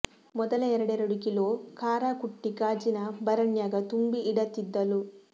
ಮೊದಲ ಎರಡೆರಡು ಕಿಲೋ ಖಾರಾ ಕುಟ್ಟಿ ಗಾಜಿನ ಬರಣ್ಯಾಗ ತುಂಬಿ ಇಡತಿದ್ದಲು